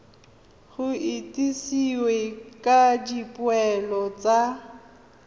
go itsisiwe ka dipoelo tsa